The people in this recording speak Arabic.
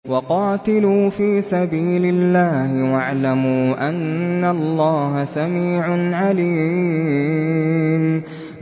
وَقَاتِلُوا فِي سَبِيلِ اللَّهِ وَاعْلَمُوا أَنَّ اللَّهَ سَمِيعٌ عَلِيمٌ